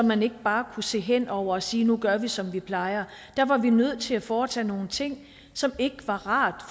man ikke bare kunne se hen over og sige nu gør vi som vi plejer der var vi nødt til at foretage nogle ting som ikke var rart